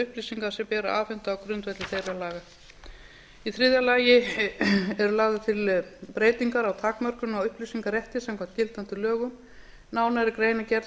upplýsinga sem ber að afhenda á grundvelli þeirra laga í þriðja lagi eru lagðar til breytingar á takmörkun á upplýsingarétti samkvæmt gildandi lögum nánari grein er gerð